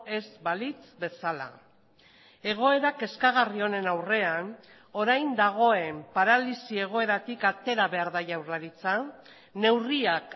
ez balitz bezala egoera kezkagarri honen aurrean orain dagoen paralisi egoeratik atera behar da jaurlaritza neurriak